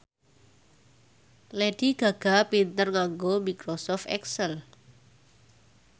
Lady Gaga pinter nganggo microsoft excel